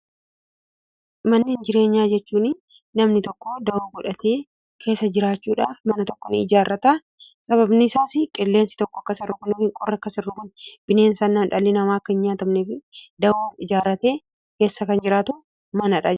Manneen jireenyaaa jechuun namni tokko dahoo godhatee keessa jiraachuudhaaf mana tokko ni ijaarrata. Sababni isaas qilleensi tokko akka isa hin rukunneef, qorri akka isa hin rukunneef, bineensotaan akka hin nyaatamne keessa kan jiraatu manadha jechuudha.